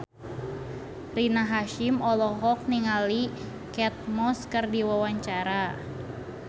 Rina Hasyim olohok ningali Kate Moss keur diwawancara